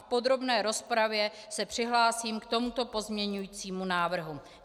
V podrobné rozpravě se přihlásím k tomuto pozměňovacímu návrhu.